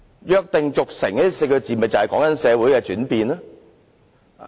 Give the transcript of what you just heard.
"約定俗成"這4字便是形容社會的轉變。